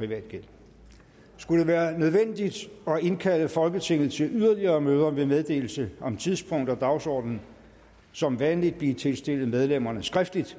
det være nødvendigt at indkalde folketinget til yderligere møder vil meddelelse om tidspunkt og dagsorden som vanlig blive tilstillet medlemmerne skriftligt